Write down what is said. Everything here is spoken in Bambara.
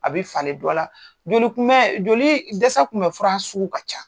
A bɛ falen dɔ la. Joli kunbɛn, jolidɛsɛ tun bɛ, fura sugu ka ca.